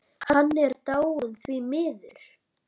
Hann er dáinn, því miður.